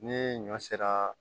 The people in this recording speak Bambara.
Ni ɲɔ sera